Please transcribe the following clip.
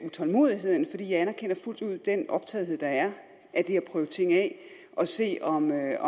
utålmodigheden for jeg anerkender fuldt ud den optagethed der er af at prøve ting af og se om der er